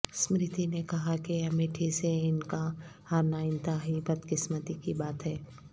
اسمرتی نے کہا کہ امیٹھی سے ان کا ہارنا انتہائی بدقسمتی کی بات ہے